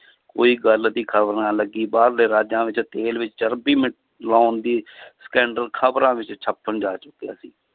ਕੋਈ ਗੱਲ ਦੀ ਖ਼ਬਰ ਨਾ ਲੱਗੀ ਬਾਹਰਲੇ ਰਾਜਾਂ ਵਿੱਚ ਤੇਲ ਵਿੱਚ ਮਿਲਾਉਣ ਦੀ scandal ਖ਼ਬਰਾਂ ਵਿੱਚ ਛਪਣ ਜਾ ਚੁੱਕਿਆ ਸੀ